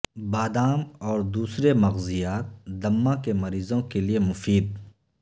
بادام اور دوسرے مغزیات دمہ کے مریضوں کیلئے مفید